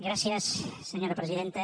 gràcies senyora presidenta